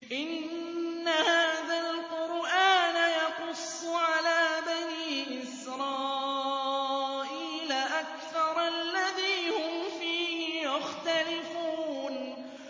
إِنَّ هَٰذَا الْقُرْآنَ يَقُصُّ عَلَىٰ بَنِي إِسْرَائِيلَ أَكْثَرَ الَّذِي هُمْ فِيهِ يَخْتَلِفُونَ